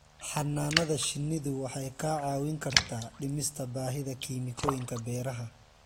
Xannaanada shinnidu waxay kaa caawin kartaa dhimista baahida kiimikooyinka beeraha.